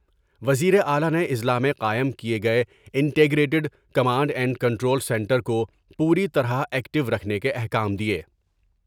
وزیر اعلی نے اضلاع میں قائم کئے گئے integrated command and control centre کو پوری طرح ایکٹیور کھنے کے احکام دیئے ۔